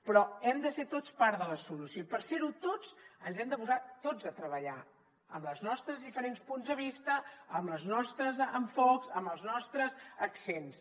però hem de ser tots part de la solució i per ser ho tots ens hem de posar tots a treballar amb els nostres diferents punts de vista amb els nostres enfocs amb els nostres accents